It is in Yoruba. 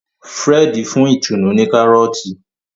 Fred fún Itunu ní Kárọ́ọ̀tì